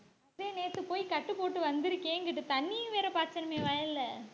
நேத்து போய் கட்டு போட்டு வந்திருக்கே இங்கிட்டு. தண்ணியும் வேற பார்த்தோமே வயல்ல